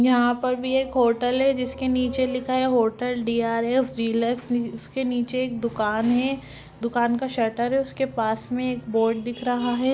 यहाँ पर भी एक होटल है जिसके नीचे लिखा है होटल डी.आर.एस. डीलक्स जिसके नीचे एक दुकान है दुकान का शटर है उसके पास में एक बोर्ड दिख रहा है।